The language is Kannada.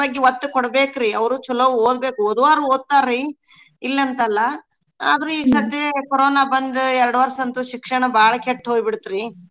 ಬಗ್ಗೆ ಓತ್ತ ಕೊಡ್ಬೇಕ್ರೀ ಅವ್ರು ಚೊಲೋ ಓದ್ಬೇಕ್ ಓದೂರ್ ಓದ್ತಾರೀ ಇಲ್ ಅಂತಲ್ಲಾ ಆದ್ರೂ ಈ ಸತೆ ಕೊರೊನ ಬಂದು ಎರ್ಡ್ ವರ್ಷ ಅಂತೂ ಶಿಕ್ಷಣ ಬಾಳ್ ಕೇಟ್ ಹೋಬಿಟ್ತರೀ.